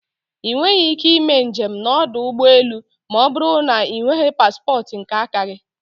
I nweghị ike ime njem na ọdụ ụgbọ elu ma ọbụrụ na ị nweghị paspotu nke aka gi